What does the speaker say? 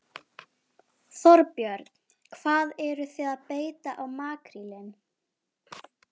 Ögmundur biskup hafði ekki heimilað þeim að giftast vegna skyldleikans.